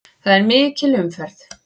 Það er mikil umferð.